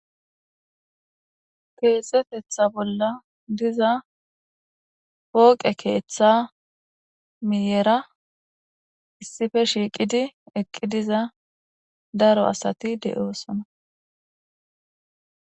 Keexetetha bolla diza pooqe keeththa miyera issife shiiqidi eqqi diza daro asati de'oosona